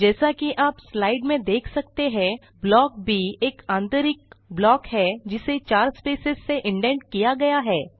जैसा कि आप स्लाइड में देख सकते हैं ब्लॉक ब एक आंतरिक ब्लॉक है जिसे 4 स्पेसेज से इंडेंट किया गया है